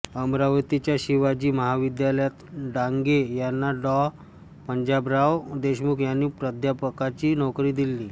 अमरावतीच्या शिवाजी महाविद्यालयात डांगे यांना डॉ पंजाबराव देशमुख यांनी प्राध्यापकाची नोकरी दिली